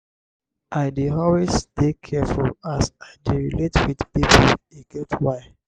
i dey always dey careful as i dey relate wit pipo e get why.